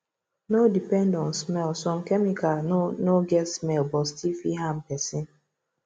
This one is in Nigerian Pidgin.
no depend on smell some chemical no no get smell but still fit harm person